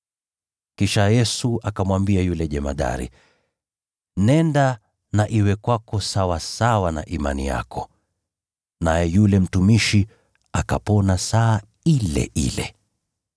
Kisha Yesu akamwambia yule jemadari, “Nenda na iwe kwako sawasawa na imani yako.” Naye yule mtumishi akapona saa ile ile.